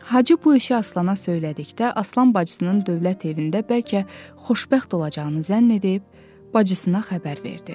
Hacı bu işi Aslana söylədikdə, Aslan bacısının dövlət evində bəlkə xoşbəxt olacağını zənn edib, bacısına xəbər verdi.